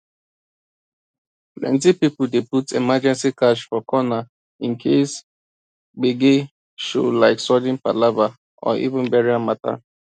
plenty people dey put emergency cash for corner in case gbege showlike sudden palava or even burial matter